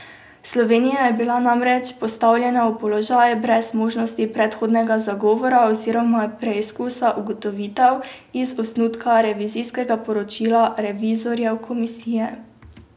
Slovenija je bila namreč postavljena v položaj, brez možnosti predhodnega zagovora oziroma preizkusa ugotovitev iz osnutka revizijskega poročila revizorjev Komisije.